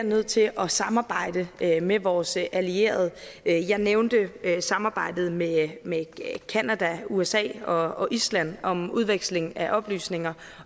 nødt til at samarbejde med vores allierede jeg nævnte samarbejdet med med canada usa og island om udveksling af oplysninger